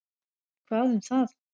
Hvað um það.